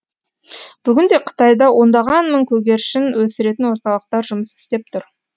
бүгін де қытайда ондаған мың көгершін өсіретін орталықтар жұмыс істеп тұр